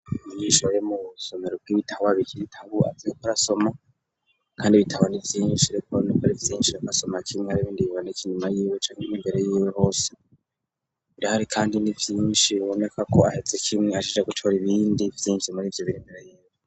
Mumyishoro yo mu somero bw'ibitawabikiritabu azeko rasoma, kandi bitabana ivyinshirekuba n'ukori ivyinshi rakasoma kimwe bibindi biboneka inyuma yiwe cankmwe imbere yiwe hose birihari, kandi ni vyinshi biboneka ko aheze kimwe ashije gucura ibindi vyinji muri ivyo biremere yiwe.